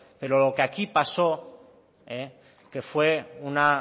pero lo que aquí pasó que fue una